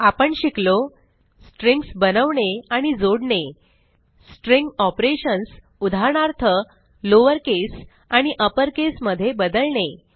आपण शिकलो स्ट्रिंग्ज बनवणे आणि जोडणे स्ट्रिंग ऑपरेशन्स उदाहरणार्थ लॉवर केस आणि अपर केस मध्ये बदलणे